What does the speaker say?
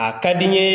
A ka di n ye